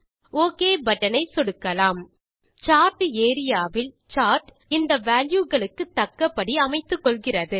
okay button ஐ சொடுக்கலாம் chart area வில் சார்ட் இந்த வால்யூ களுக்கு தக்கபடி அமைத்துக்கொள்கிறது